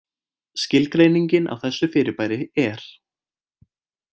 Skilgreining á þessu fyrirbæri er: